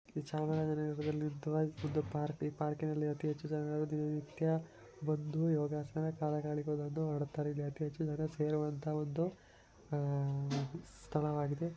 ಇದು ಚಾಮರಾಜನಗರದಲ್ಲಿರುವ ಪಾರ್ಕ್ . ಈ ಪಾರ್ಕ್ ನಲ್ಲಿ ಅತೀ ಹೆಚ್ಚು ಜನರು ದಿನನಿತ್ಯ ಬಂದು ಯೋಗ ಅತಿ ಹೆಚ್ಚು ಜನ ಸೇರುವಂತಹ ಒಂದು ಆಹ್ ಸ್ಥಳವಾಗಿದೆ.